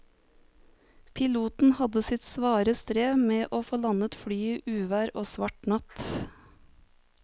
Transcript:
Piloten hadde sitt svare strev med å få landet flyet i uvær og svart natt.